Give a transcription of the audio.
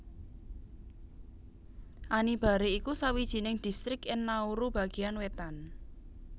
Anibare iku sawijining distrik ing Nauru bagéan wétan